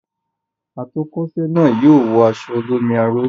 Atọ́kọ̀se náà yóò wọ aṣọ olómi aró.